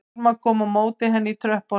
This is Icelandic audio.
Hilma kom á móti henni í tröppunum